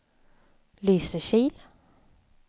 Lysekil